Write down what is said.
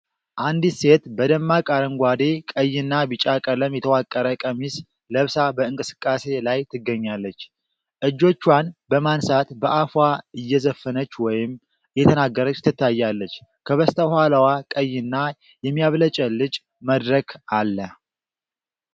አንዲት ሴት በደማቅ አረንጓዴ፣ ቀይና ቢጫ ቀለም የተዋቀረ ቀሚስ ለብሳ በእንቅስቃሴ ላይ ትገኛለች። እጆቿን በማንሳት በአፏ እየዘፈነች ወይም እየተናገረች ትታያለች፤ ከበስተኋላዋ ቀይና የሚያብለጨልጭ መድረክ አለ።